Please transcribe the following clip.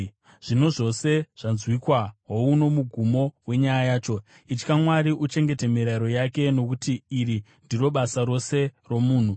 Zvino zvose zvanzwikwa; houno mugumo wenyaya yacho: Itya Mwari uchengete mirayiro yake, nokuti iri ndiro basa rose romunhu.